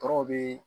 Tɔɔrɔw bɛ